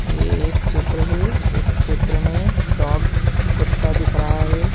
ये एक चित्र है जिस चित्र मे डॉग कुत्ता दिख रहा है।